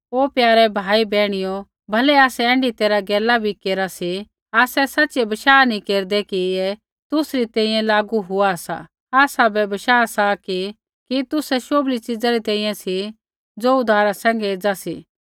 ओ प्यारे भाई बैहणियो भलै आसै ऐण्ढी तैरहा गैला बै केरा सी आसै सच़िऐ बशाह नैंई केरदै कि ऐ तुसरी तैंईंयैं लागू होआ सा आसाबै बशाह सा कि तुसै शोभली च़ीज़ा री तैंईंयैं सा ज़ो उद्धारा सैंघै एज़ा सा